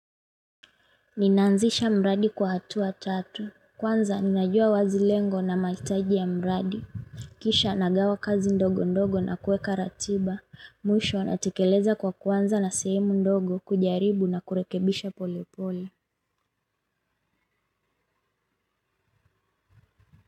Ninaanzisha mradi kwa hatua tatu, kwanza ninajua wazi lengo na mahitaji ya mradi. Kisha nagawa kazi ndogo ndogo na kuweka ratiba, mwisho natekeleza kwa kuanza na sehemu ndogo kujaribu na kurekebisha pole pole.